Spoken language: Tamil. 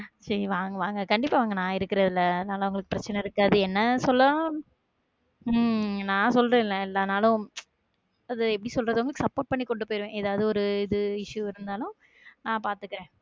சரி வாங்க வாங்க கண்டிப்பா வாங்க நான் இருக்குறதுல அதனால உங்களுக்கு பிரச்சனை இருக்காது என்ன சொல்ல உம் நான் சொல்றேன் ல எல்லா நாளும் அது எப்படி சொல்றது support பண்ணி கொண்டு போயிடுவேன் எதாவது ஒரு இது issue இருந்தாலும் நா பார்த்துகிறேன்